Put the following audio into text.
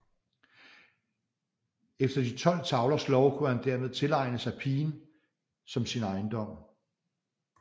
Efter De tolv tavlers lov kunne han dermed tilegne sig pigen som sin ejendom